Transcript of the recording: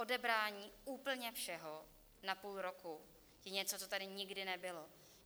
Odebrání úplně všeho na půl roku je něco, co tady nikdy nebylo.